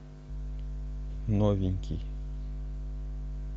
новенький